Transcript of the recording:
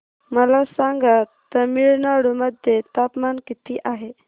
मला सांगा तमिळनाडू मध्ये तापमान किती आहे